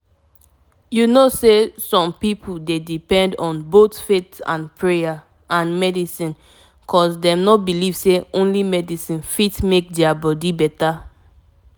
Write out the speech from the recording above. some kain family go wan pray or mk dem do some kain things like rituals before dem go start any treatment for dem for hospital